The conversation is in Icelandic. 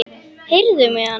Heyrðu mig annars!